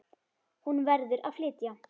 Hún verður að flytja.